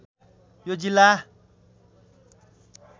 यो जिल्ला